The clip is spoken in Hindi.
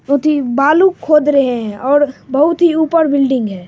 बालू खोद रहे है और बहुत ही ऊपर बिल्डिंग है।